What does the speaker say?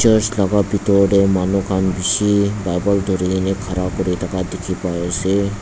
church laka bidor de manu kan bishi bible duri kina ghara kuri daka diki pai ase.